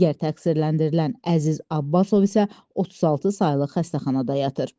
Digər təqsirləndirilən Əziz Abbasov isə 36 saylı xəstəxanada yatır.